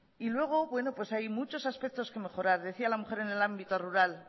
y luego bueno pues hay muchos aspectos que mejorar decía la mujer en el ámbito rural